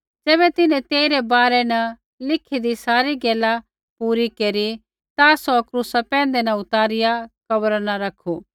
ज़ैबै तिन्हैं तेइरै बारै न लिखीदी सारी गैला पूरी केरी ता सौ क्रूसा पैंधै न उतारिआ कब्रा न रैखू